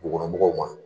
Dugukɔnɔmɔgɔw ma